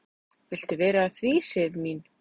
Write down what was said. """Viltu vera að því, Sif mín?"""